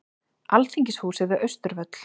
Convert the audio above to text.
Alþingishúsið við Austurvöll.